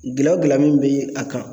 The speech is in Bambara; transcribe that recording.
Gɛlɛya o gɛlɛya min be a kan